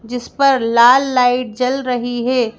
जिस पर लाल लाइट जल रही है।